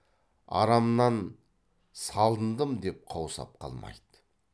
арамнан салындым деп қаусап қалмайды